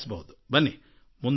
ಬನ್ನಿ ಮುನ್ನಡೆಯಿಸಿ